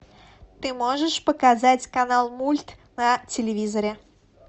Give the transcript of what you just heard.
ты можешь показать канал мульт на телевизоре